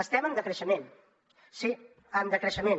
estem en decreixement sí en decreixement